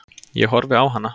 Ég horfi á hana.